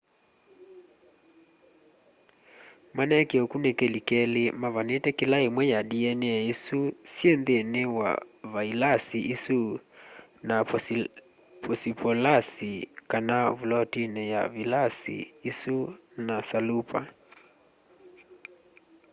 maneekie ukunikili keli mavanite kila imwe ya dna isu syi nthini wa vailasi isu na posipolasi kana vulotini ya vilasi isu na salupa